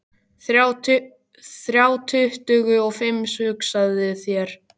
Þrjá tuttugu og fimm, hugsaðu þér!